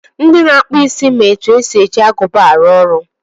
Ndị na-akpụ isi ma etu esi eji agụba arụ ọrụ.